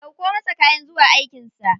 Ɗauko masa kayan zuwa aikin sa.